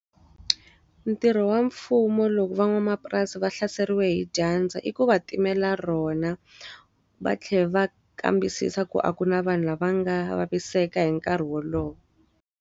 Ntirho wa mfumo loko van'wamapurasi va hlaseriwe hi dyandza i ku va timela rona. Va tlhela va kambisisa ku a ku na vanhu lava nga vaviseka hi nkarhi wolowo.